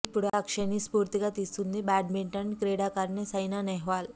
ఇప్పుడు అక్షయ్ ని స్పూర్తిగా తీసుకొంది బ్యాడ్మింటన్ క్రీడాకారిణి సైనా నెహ్వాల్